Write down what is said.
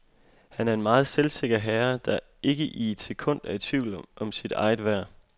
Han er en meget selvsikker herre, der ikke i et sekund er i tvivl om sit eget værd.